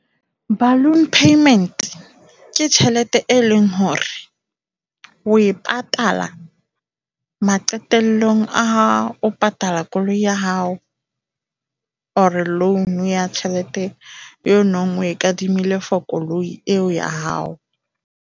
Balloon payment ke tjhelete e leng hore o e patala maqetellong a ha o patala koloi ya hao or loan ya tjhelete eo o neng o e kadimile for koloi eo ya hao.